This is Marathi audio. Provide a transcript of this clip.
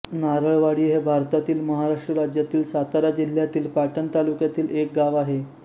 नारळवाडी हे भारतातील महाराष्ट्र राज्यातील सातारा जिल्ह्यातील पाटण तालुक्यातील एक गाव आहे